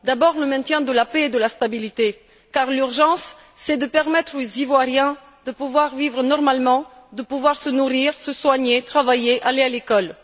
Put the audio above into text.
D'abord, le maintien de la paix et de la stabilité, car l'urgence, c'est de permettre aux Ivoiriens de pouvoir vivre normalement, de pouvoir se nourrir, se soigner, travailler, aller à l'école.